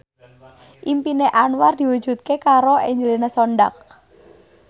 impine Anwar diwujudke karo Angelina Sondakh